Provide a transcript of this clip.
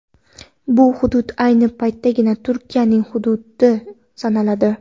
Bu hudud ayni paytdagi Turkiyaning hududi sanaladi.